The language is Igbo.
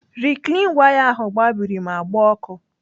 Riklin waya ahụ gbabiri ma gbaa ọkụ.